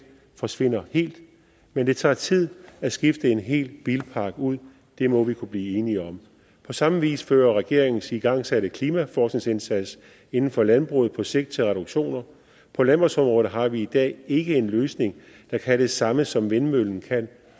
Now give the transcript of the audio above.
forsvinder helt men det tager tid at skifte en hel bilpark ud det må vi kunne blive enige om på samme vis fører regeringens igangsatte klimaforskningsindsats inden for landbruget på sigt til reduktioner på landbrugsområdet har vi i dag ikke en løsning der kan det samme som vindmøllen kan